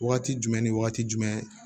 Wagati jumɛn ni wagati jumɛn